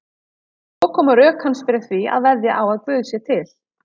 Svo koma rök hans fyrir því að veðja á að Guð sé til.